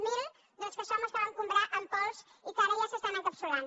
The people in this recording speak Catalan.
zero doncs que són els que vam comprar en pols i que ara ja s’estan encapsulant